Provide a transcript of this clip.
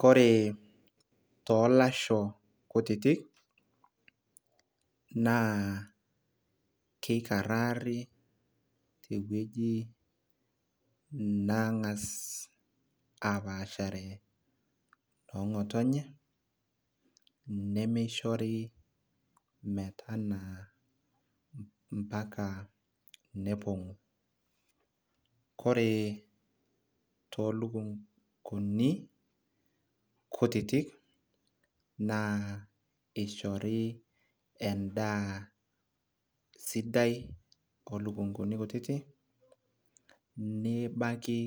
kore toolasho kutitik naa keikarari tewueji nangas aapashare noo ng'otonye, nemeishori metanaa moaka nelepi. ore toolukunkuni, kutitik naa ishori edaa sidai oolukunkuni kutitik, nebaki